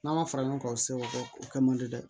N'a ma fara ɲɔgɔn kan o se o kɛ o kɛ man di dɛ